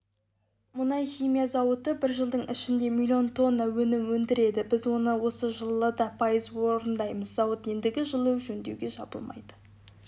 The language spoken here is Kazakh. мұнай-химия зауыты бір жылдың ішінде миллион тонна өнім өндіреді біз оны осы жылы да пайыз орындаймыз зауыт ендігі жылы жөндеуге жабылмайды